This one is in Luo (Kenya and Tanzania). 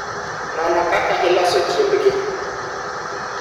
Non kaka iloso chiembgi